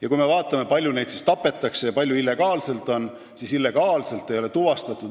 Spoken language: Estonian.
Ja kui me vaatame, kui palju neid linde siis tapetakse, sh illegaalselt, siis mitte ühtegi illegaalset jahti ei ole tuvastatud.